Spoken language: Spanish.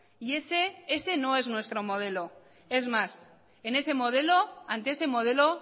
y ese ese no es nuestro modelo es más en ese modelo ante ese modelo